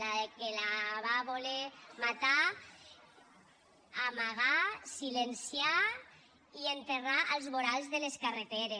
la que la va voler matar amagar silenciar i enterrar als vorals de les carreteres